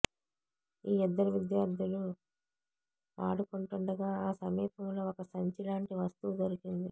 ఈ ఇద్దరు విద్యార్థులు ఆడుకుంటుండగా ఆ సమీపంలో ఒక సంచి లాంటి వస్తువు దొరికింది